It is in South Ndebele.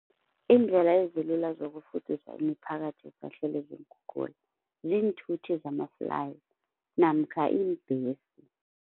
Iindlela ezilula zokufudusa imiphakathi esahlelwe ziinkhukhula, ziinthuthi zama-fly namkha iimbhesi.